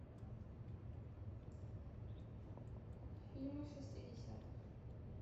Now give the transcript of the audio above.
фильмы шестидесятых